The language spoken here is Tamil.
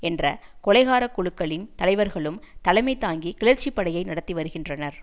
என்ற கொலைகார குழுக்களின் தலைவர்களும் தலைமை தாங்கி கிளர்ச்சிப் படையை நடத்தி வருகின்றனர்